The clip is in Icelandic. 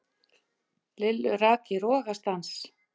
Lillu rak í rogastans.